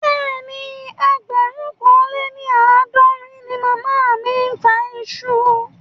Bẹ́ẹ̀ni, ẹgbẹ̀rún kan lé ní àádọ́rin ni màmá mi ń ta iṣu